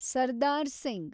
Sardar Singh